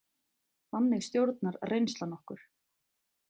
Þannig stjórnar reynslan okkur.